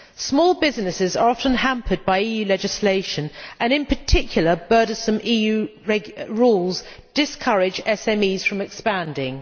Small businesses are often hampered by EU legislation, and in particular burdensome EU rules discourage SMEs from expanding.